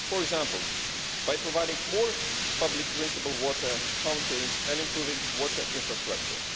for example, by providing more public drinking water fountains and improving water infrastructure.